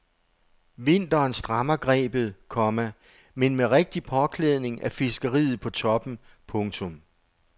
Vinteren strammer grebet, komma men med rigtig påklædning er fiskeriet på toppen. punktum